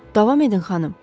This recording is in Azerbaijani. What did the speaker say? Davam edin, xanım.